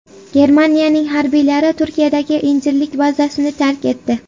Germaniya harbiylari Turkiyadagi Injirlik bazasini tark etdi.